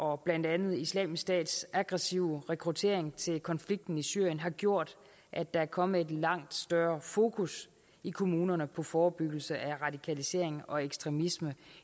og blandt andet islamisk stats aggressive rekruttering til konflikten i syrien har gjort at der er kommet et langt større fokus i kommunerne på forebyggelse af radikalisering og ekstremisme